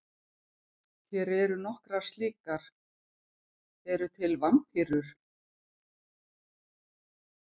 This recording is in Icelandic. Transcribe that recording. Hér eru nokkrar slíkar: Eru til vampírur?